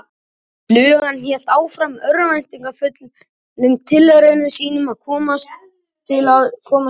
Flugan hélt áfram örvæntingarfullum tilraunum sínum til að komast út í frelsið.